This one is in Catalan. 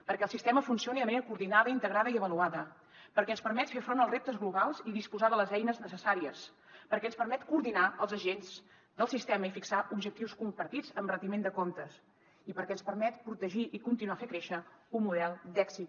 perquè el sistema funcioni de manera coordinada integrada i avaluada perquè ens permet fer front als reptes globals i disposar de les eines necessàries perquè ens permet coordinar els agents del sistema i fixar objectius compartits amb retiment de comptes i perquè ens permet protegir i continuar fent créixer un model d’èxit